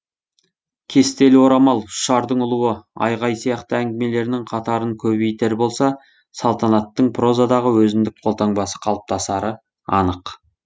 кестелі орамал ұшардың ұлуы айғай сияқты әңгімелерінің қатарын көбейтер болса салтанаттың прозадағы өзіндік қолтаңбасы қалыптасары анық